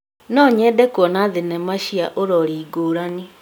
No nyende kuona thenema cina ũrori ngũrani.